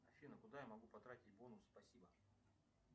афина куда я могу потратить бонусы спасибо